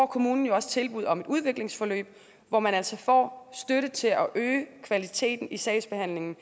kommunen jo også tilbud om et udviklingsforløb hvor man altså får støtte til at øge kvaliteten i sagsbehandlingen